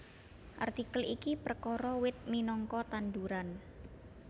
Artikel iki perkara wit minangka tanduran